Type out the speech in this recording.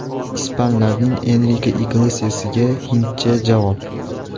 Ispanlarning Enrike Iglesiasiga hindcha javob.